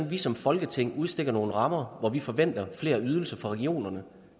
vi som folketing udstikker nogle rammer hvor vi forventer flere ydelser fra regionerne